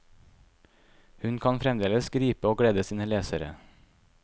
Hun kan fremdeles gripe og glede sine lesere.